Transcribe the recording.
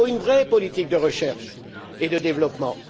Il faut une vraie politique de recherche et de développement.